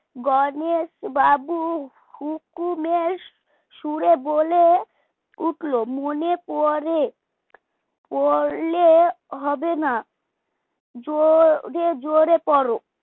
গনেশ বাবু হুকুমের সুরে বলে উঠলো মনে পড়ে পড়লে হবে না জোরে জোরে পড়ো